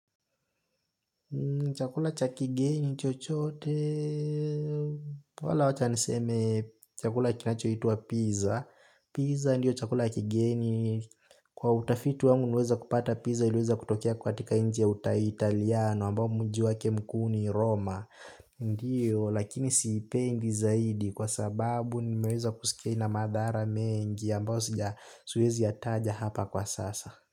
Chakula cha kigeni chochote wala wacha niseme chakula kinachoitwa pizza. Pizza ndiyo chakula kigeni. Kwa utafiti wangu nimeweza kupata pizza iliweza kutokea katika nchi ya Italiano ambao mji wake mkuu ni Roma. Ndiyo, lakini siipendi zaidi kwa sababu nimeweza kusikia ina madhara mengi ambayo siwezi yataja hapa kwa sasa.